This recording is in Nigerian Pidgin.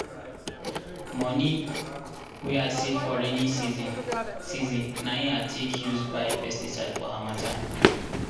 moni wey i save for rainy season season na hin i take use buy pesticide for harmattan.